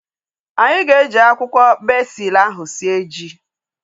Anyị ga-eji akwụkwọ bezil ahu sie ji